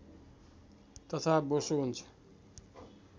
तथा बोसो हुन्छ